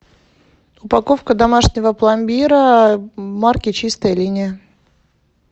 упаковка домашнего пломбира марки чистая линия